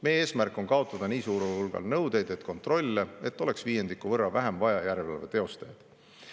Meie eesmärk on kaotada nii suurel hulgal nõudeid ja kontrolle, et oleks vaja viiendiku võrra vähem järelevalve teostajad.